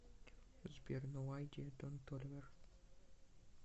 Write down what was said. сбер ноу айдиа дон толивер